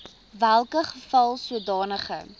welke geval sodanige